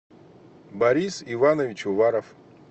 борис иванович уваров